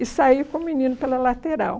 E saí com o menino pela lateral.